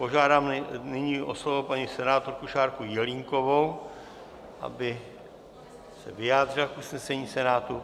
Požádám nyní o slovo paní senátorku Šárku Jelínkovou, aby se vyjádřila k usnesení Senátu.